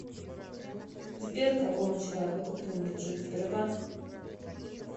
сбер какому человеку принадлежит сбербанк